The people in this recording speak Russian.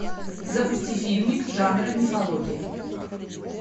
запусти фильмик жанра мифология